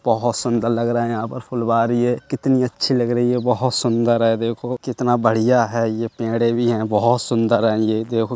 बहोत सुंदर लग रहा है यहाँ पर फुलवारी है कितनी अच्छी लग रही है। बहोत सुंदर है देखो कितना बढ़िया है। ये पेड़े भी हैं बहोत सुंदर है ये देखो।